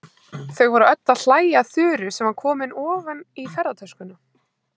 Þau voru öll að hlæja að Þuru sem var komin ofan í ferðatöskuna.